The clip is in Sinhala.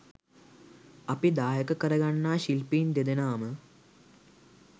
අපි දායක කරගන්නා ශිල්පීන් දෙදෙනාම